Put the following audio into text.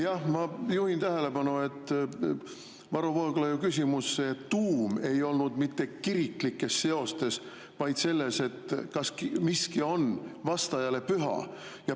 Jah, ma juhin tähelepanu, et Varro Vooglaiu küsimuse tuum ei olnud mitte kiriklikes seostes, vaid selles, kas miski on vastajale püha.